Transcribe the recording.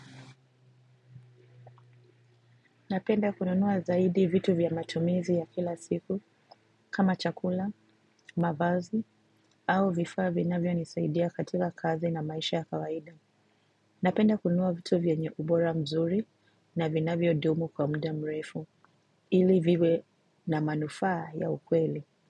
Napenda kununua zaidi vitu vya matumizi ya kila siku kama chakula, mavazi au vifaa vinavyonisaidia katika kazi na maisha ya kawaida. Napenda kununua vitu vyenye ubora mzuri na vinavyodumu kwa muda mrefu ili viwe na manufaa ya ukweli.